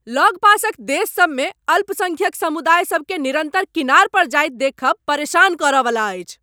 लग पासक देश सब मे अल्पसंख्यक समुदाय सभ केँ निरन्तर किनार पर जाइत देखब परेशान करयवला अछि।